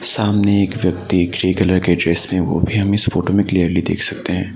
सामने एक व्यक्ति ग्रे कलर के ड्रेस में है वो भी हम इस फोटो में क्लियरली देख सकते हैं।